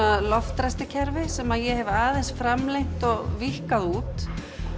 loftræstikerfi sem ég hef aðeins framlengt og víkkað út